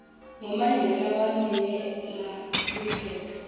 ngo mandela wangenela lukhetfo